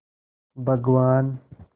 भगवान्